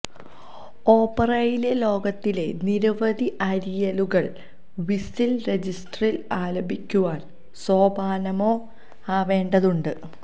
ഓപറയിലെ ലോകത്തിലെ നിരവധി അരിയലുകൾ വിസിൽ രജിസ്റ്ററിൽ ആലപിക്കുവാൻ സോപാനമോ ആവേണ്ടതുണ്ട്